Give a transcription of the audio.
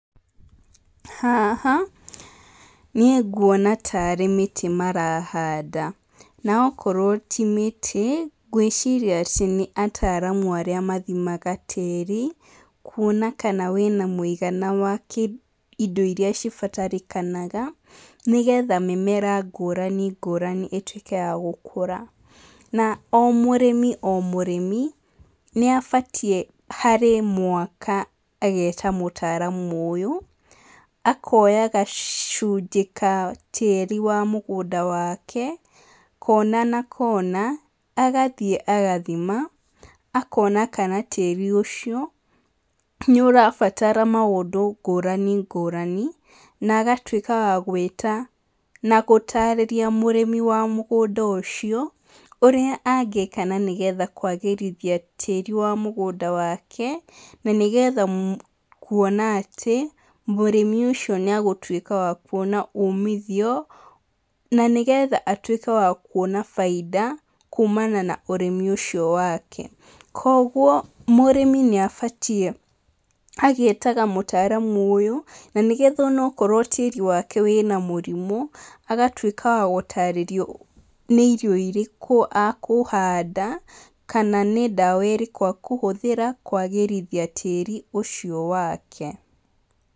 Haha, niĩ nguona tarĩ mĩtĩ marahanda, na okorwo ti mĩtĩ, ngwĩciria atĩ nĩ ataramu arĩa mathimaga tĩri, kuona kana wĩna mũigana wa kĩ indo iria cibatarĩkanaga, nĩgetha mĩmera ngũrani ngũrani ĩtuĩke ya gũkũra. Na o mũrĩmi o mũrĩmi, nĩabatiĩ harĩ mwaka, ageta mũtaramu ũyũ, akoya gacunjĩ ka tĩri wa mũgũnda wake, kona na kona, agathiĩ agathima, akona kana tĩri ũcio, nĩũrabatara maũndũ ngũrani ngũrani, na agatuĩka wa gwĩta na gũtarĩria mũrĩmi wa mũgũnda ũcio, ũrĩa angĩka na nĩgetha kwagĩrithia tĩrĩ wa mũgũnda wake, na nĩgetha kuona atĩ, mũrĩmi ũcio nĩagũtuĩka wa kuona umitio, na nĩgetha atuĩke wa kuona bainda, kumana na ũrĩmi ũcio wake. Koguo, mũrĩmi nĩabatiĩ agetaga mũtaramu ũyũ, na nĩgetha onokorwo tĩri wake wĩna mũrimũ, agatuĩka wa gũtarĩrio nĩ irio irĩkũ akũhanda, kana nĩ ndawa ĩrĩkũ akũhũthĩra kwagĩrithia tĩri ũcio wake.